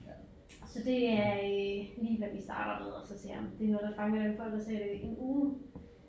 Så det er øh lige hvad vi starter med og så ser om det er noget der fanger dem for at så sætte en uge